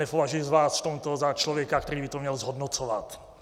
Nepovažuji vás v tomto za člověka, který by to měl zhodnocovat.